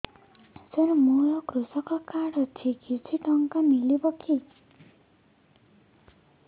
ସାର ମୋର୍ କୃଷକ କାର୍ଡ ଅଛି କିଛି ଟଙ୍କା ମିଳିବ କି